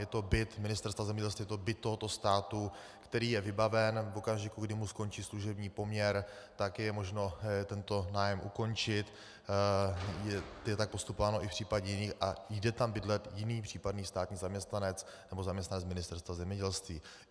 Je to byt Ministerstva zemědělství, je to byt tohoto státu, který je vybaven, v okamžiku, kdy mu skončí služební poměr, tak je možno tento nájem ukončit, je tak postupováno i v případě jiných, a jde tam bydlet jiný případný státní zaměstnanec nebo zaměstnanec Ministerstva zemědělství.